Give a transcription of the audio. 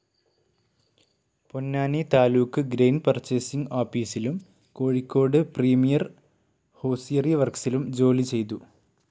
Ponnani taluk grain purchasing ആപീസിലും Kozhikode premier hosiery വർക്സിലും ജോലിചെയ്തു.